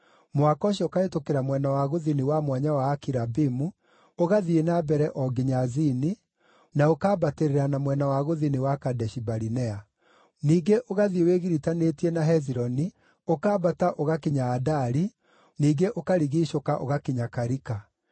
mũhaka ũcio ũkahĩtũkĩra mwena wa gũthini wa Mwanya wa Akirabimu, ũgathiĩ na mbere o nginya Zini, na ũkambatĩrĩra na mwena wa gũthini wa Kadeshi-Barinea. Ningĩ ũgathiĩ wĩgiritanĩtie na Hezironi, ũkambata ũgakinya Adari, ningĩ ũkarigiicũka ũgakinya Karika.